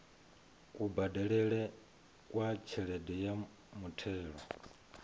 kubadelele kwa tshelede ya muthelo